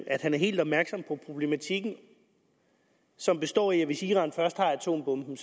at han er helt opmærksom på problematikken som består i at hvis iran først har atombomben